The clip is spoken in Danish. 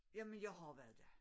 Jamen jeg har været der